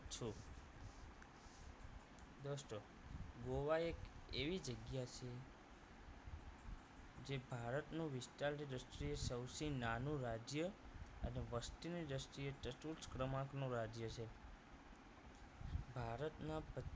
ગોવા એક એવી જગ્યા જે ભારતનું વિસ્તારની દ્રષ્ટિએ સૌથી નાનું રાજ્ય અને વસ્તીની દ્રષ્ટિએ ચતુર્થ ક્રમાંક નું રાજ્ય છે ભારતના પં